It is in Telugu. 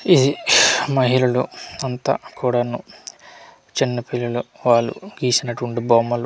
ఇది మహిళలు అంతా కూడాను చిన్న పిల్లలు వాళ్ళు గీసినటువంటి బొమ్మలు.